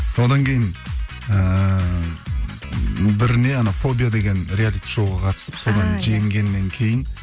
одан кейін ііі бір не анау фобия деген реалити шоуға қатысып содан жеңгеннен кейін